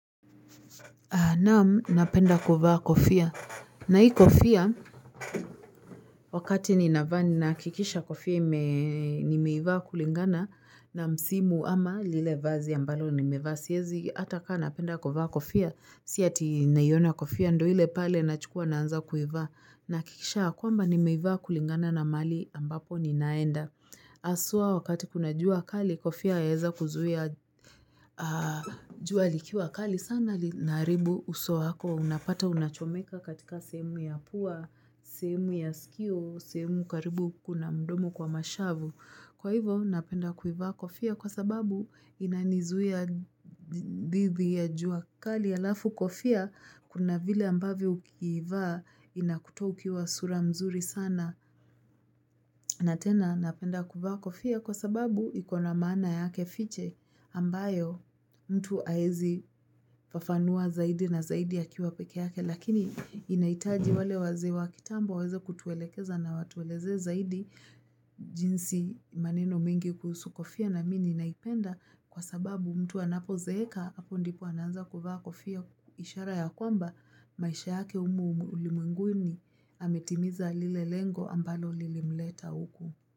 Naam napenda kuvaa kofia na hii kofia wakati ninavaa ninahakikisha kofia nimeivaa kulingana na msimu ama lile vazi ambalo ni mevaa siezi ata kaa napenda kuvaa kofia, si ati naiona kofia ndo ile pale nachukua naanza kuivaa nahakikisha kwamba nimeivaa kulingana na mahali ambapo ninaenda. Haswa wakati kuna jua kali kofia yaeza kuzuia jua likiwa kali sana linaharibu uso wako unapata unachomeka katika sehemu ya pua, sehemu ya sikio, sehemu karibu huku na mdomo kwa mashavu. Kwa hivo napenda kuivaa kofia kwa sababu inanizuia dhidi ya jua kali, alafu kofia kuna vile ambavyo ukiivaa inakutoa ukiwa sura mzuri sana. Na tena napenda kuvaa kofia kwa sababu ikona maana yake fiche ambayo mtu haezi fafanua zaidi na zaidi akiwa peke yake lakini inahitaji wale wazee wa kitambo waweze kutuelekeza na watuelezee zaidi jinsi maneno mingi kuhusu kofia na mimi ninaipenda kwa sababu mtu anapozeeka hapo ndipo anaanza kuvaa kofia ishara ya kwamba maisha yake humu ulimwenguni ametimiza lile lengo ambalo lilimleta huku.